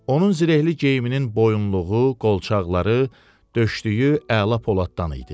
Onun zirehli geyiminin boyunluğu, qolçaqları, döşlüyü əla poladdan idi.